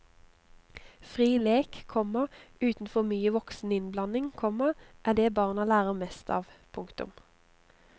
Fri lek, komma uten for mye voksen innblanding, komma er det barna lærer mest av. punktum